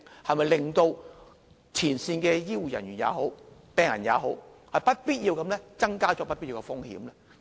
是否只會令前線的醫護人員或病人增加不必要的風險呢？